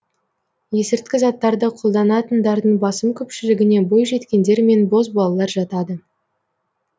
есірткі заттарды қолданатындардың басым көпшілігіне бойжеткендер мен бозбалалар жатады